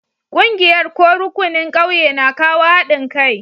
Ƙungiyar ko rukunin ƙauye na kawo haɗin kai.